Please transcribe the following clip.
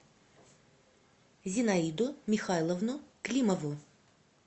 зинаиду михайловну климову